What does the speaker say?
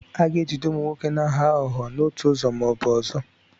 A ga-ejide ụmụ nwoke na-aghọ aghụghọ n'otu ụzọ ma ọ bụ ọzọ.